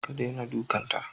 Ka daina dukanta